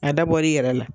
A dabɔra i yɛrɛ la